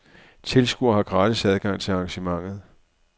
Tilskuere har gratis adgang til arrangementet.